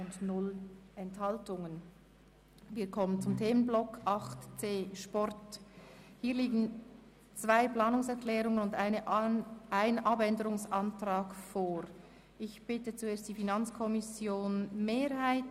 Reduktion der Massnahme mit dem Auftrag, auf den Abbau von 1,1 Stellen zu verzichten, die Anzahl J+SKurse um 20 % zu erhöhen und die Kursgebühr pro Teilnehmer und Tag um CHF 10.- anzuheben (bringt Mehreinnahmen von CHF 100 000.-, womit die Massnahme insgesamt saldoneutral ist).